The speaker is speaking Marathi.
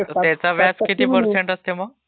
त्याचा व्याज किती पर्सेंट असते मग..